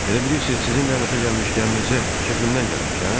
Elə bilirsiz sizin lənətə gəlmiş gəminizə kefimdən gəlmişəm?